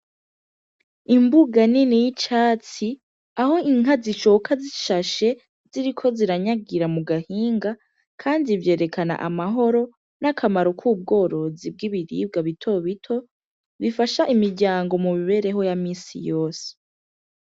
Imbuga nini y'icatsi aho inka zicoka zishashe ziriko ziranyagira mu gahinga, kandi ivyerekana amahoro n'akamaro k'ubworozi bw'ibiribwa bitobito bifasha imiryango mu mibereho ya misi yose.